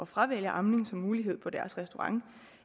fravælger amning som mulighed på deres restaurant